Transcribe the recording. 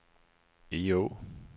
Egå